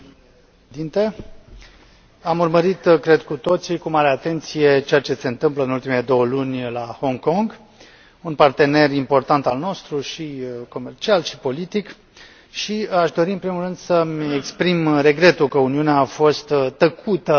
Am urmărit, cred, cu toții, cu mare atenție, ceea ce se întâmplă în ultimele două luni la Hong Kong, un partener important al nostru, și comercial, și politic și aș dori, în primul rând, să mi exprim regretul că Uniunea a fost tăcută sau atât de tăcută